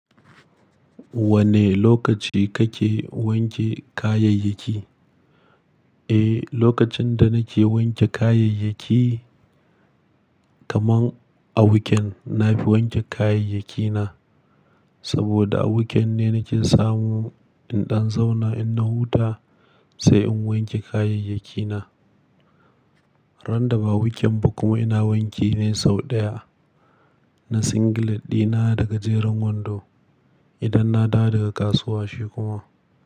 Wane lokaci kake wanke kayayyaki? Eh, lokacin da nake wanke kayayyaki, kaman a wuken na fi wanke kayayyakina. Saboda a wuken ne nake samu in ɗan zauna in na huta sai in wanke kayayyakina. Ran da ba wuken ba kuma ina wanke ne sau ɗaya. Na singlet ɗina daga jerin wando. Idan na dawo daga kasuwa shi kuma.